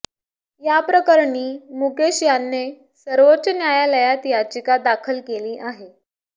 याप्रकरणी मुकेश याने सर्वोच्च न्यायालयात याचिका दाखल केली आहे